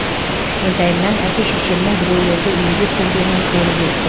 кішкентайымнан әке шешемнің біреулерді емдеп жүргенін көріп өстім